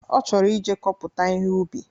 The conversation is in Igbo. Ọ chọrọ ije kọpụta ihe ubi